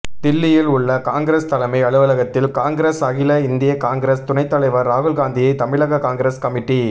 தில்லியில் உள்ள காங்கிரஸ் தலைமை அலுவலகத்தில் காங்கிரஸ் அகில இந்திய காங்கிரஸ் துணைத்தலைவர் ராகுல்காந்தியை தமிழக காங்கிரஸ் கமிட்டி